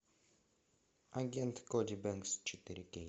агент коди бенкс четыре кей